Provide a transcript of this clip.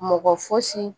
Mɔgɔ fosi